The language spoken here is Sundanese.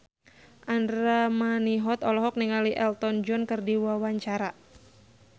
Andra Manihot olohok ningali Elton John keur diwawancara